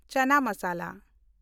ᱪᱟᱱᱟ ᱢᱟᱥᱟᱞᱟ